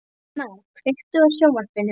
Sveina, kveiktu á sjónvarpinu.